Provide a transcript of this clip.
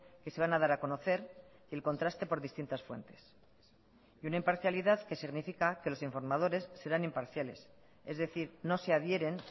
que se van a dar a conocer el contraste por distintas fuentes y una imparcialidad que significa que los informadores serán imparciales es decir no se adhieren